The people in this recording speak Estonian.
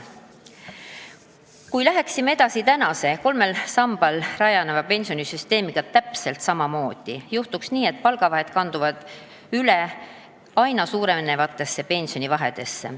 Kui läheksime täpselt samamoodi edasi tänase kolmel sambal rajaneva pensionisüsteemiga, juhtuks nii, et palgavahed kanduksid üle aina suurenevatesse pensionivahedesse.